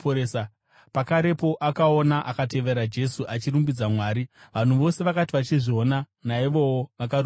Pakarepo akaona akatevera Jesu, achirumbidza Mwari. Vanhu vose vakati vachizviona, naivowo vakarumbidza Mwari.